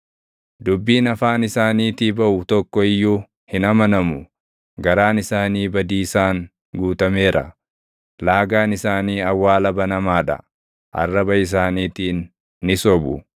Dubbiin afaan isaaniitii baʼu tokko iyyuu hin amanamu; garaan isaanii badiisaan guutameera. Laagaan isaanii awwaala banamaa dha; arraba isaaniitiin ni sobu.